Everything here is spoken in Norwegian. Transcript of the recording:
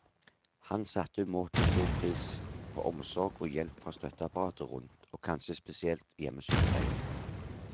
Han satte umåtelig stor pris på omsorg og hjelp fra støtteapparatet rundt, og kanskje spesielt hjemmesykepleien.